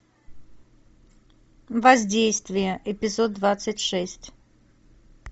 воздействие эпизод двадцать шесть